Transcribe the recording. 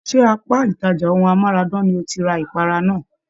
Ṣe apá ìtàjà ohùn amárádán lo tí rí ipara náà?